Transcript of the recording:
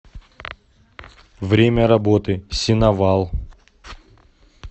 время работы сеновал